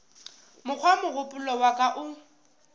mokgwa mogopolo wa ka o